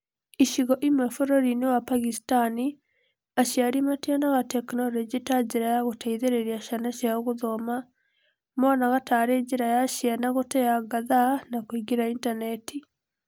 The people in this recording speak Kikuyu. Icigo-inĩ imwe bũrũri-inĩ wa Pagistani, aciari mationaga Tekinoronjĩ ta njĩra ya gũteithĩrĩria ciana ciao gũthoma. Monaga tarĩ njĩra ya ciana gũteanga thathaa na kũingĩra intaneti.